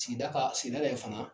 Sigida ka sigidara yen fana